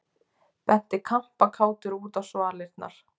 Benti kampakátur út á svalirnar.